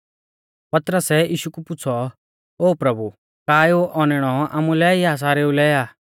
पतरसै यीशु कु पुछ़ौ ओ प्रभु का एऊ औनैणौ आमुलै आ या सारेऊ लै आ